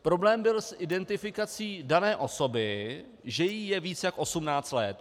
Problém byl s identifikací dané osoby, že jí je více než 18 let.